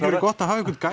verið gott að hafa einhvern